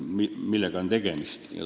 Millega on tegemist?